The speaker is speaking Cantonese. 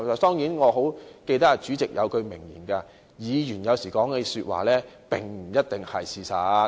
當然，我記得主席有一句名言：議員有時說的話，並不一定是事實。